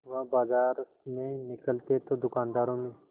वह बाजार में निकलते तो दूकानदारों में